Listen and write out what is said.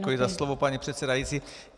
Děkuji za slovo, paní předsedající.